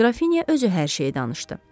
Qrafinya özü hər şeyi danışdı.